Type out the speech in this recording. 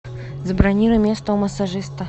забронируй место у массажиста